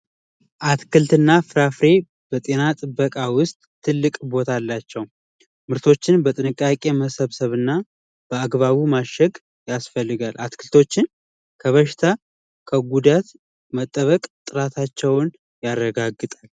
አትክልትና ፍራፍሬ በጤና ጥበቃ ውስጥ ትልቅ ቦታ አላቸው ምርቶችን በጥንቃቄ መሰብሰብና በአግባቡ ማሸግ ያስፈልጋል አትክልቶችን ከበሽታ ከጉዳት መጠበቅ ጥራታቸውን ያረጋግጣል